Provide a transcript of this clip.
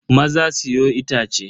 Maza siyo itace.